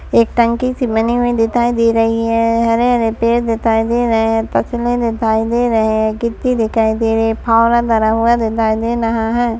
एक टंकी सी बनी हुई दिताई दे रही है हरे हरे पेड़ दिताई दे रही है दिताई दे रए ए गित्ती दिकाई दे रही ए फावड़ा धरा हुआ दिताई दे रहा है ।